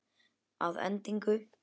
Að endingu